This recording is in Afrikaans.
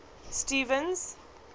stevens